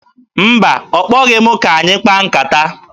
Mba, ọ kpọghị m ka anyị kpaa nkata.